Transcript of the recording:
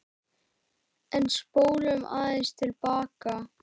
En spólum aðeins til baka.